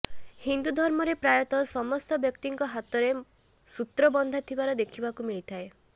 ହିନ୍ଦୁ ଧର୍ମରେ ପ୍ରାୟତଃ ସମସ୍ତ ବ୍ଯକ୍ତିଙ୍କ ହାତରେ ସୂତ୍ର ବନ୍ଧା ଥିବାର ଦେଖିବାକୁ ମିଳିଥାଏ